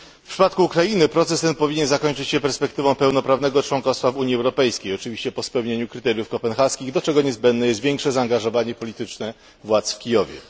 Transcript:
W przypadku Ukrainy proces ten powinien zakończyć się perspektywą pełnoprawnego członkostwa w Unii Europejskiej, oczywiście po spełnieniu kryteriów kopenhaskich, do czego niezbędne jest większe zaangażowanie polityczne władz w Kijowie.